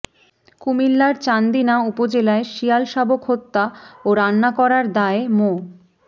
কুমিল্লার চান্দিনা উপজেলায় শিয়াল শাবক হত্যা ও রান্না করার দায়ে মো